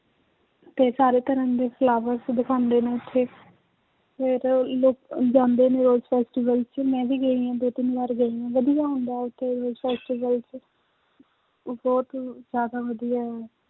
ਤੇ ਸਾਰੇ ਤਰ੍ਹਾਂ ਦੇ flowers ਦਿਖਾਉਂਦੇ ਨੇ ਉੱਥੇ ਫਿਰ ਲੋਕ ਜਾਂਦੇ ਨੇ rose festival 'ਚ ਮੈਂ ਵੀ ਗਈ ਹਾਂ ਦੋ ਤਿੰਨ ਵਾਰ ਗਈ ਹਾਂ, ਵਧੀਆ ਹੁੰਦਾ ਹੈ ਉੱਥੇ rose festival 'ਚ ਉਹ ਬਹੁਤ ਜ਼ਿਆਦਾ ਵਧੀਆ ਹੈ